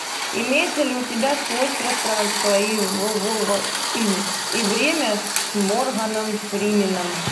имеется ли у тебя сквозь пространство и время с морганом фрименом